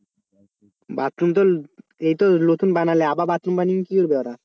Bathroom তো এইতো নতুন বানালে আবার বাথরুম বানিয়ে কি করবে ওরা?